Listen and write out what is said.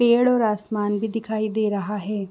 पेड़ और आसमान भी दिखाई दे रहा है।